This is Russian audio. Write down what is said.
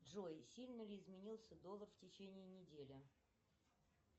джой сильно ли изменился доллар в течении недели